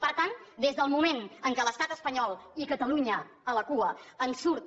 per tant des del moment en què l’estat espanyol i catalunya a la cua en surt